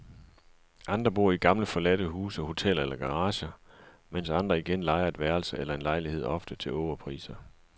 Andre bor i gamle forladte huse, hoteller eller garager, mens andre igen lejer et værelse eller en lejlighed ofte til ågerpriser.